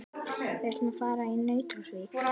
Við ætlum að fara í Nauthólsvík.